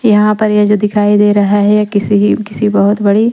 यहाँ पर ये जो दिखाई दे रहा है ये किसी किसी बहुत बड़ी--